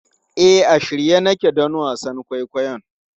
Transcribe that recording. E, a shirye nake don wasan kwaikwayon.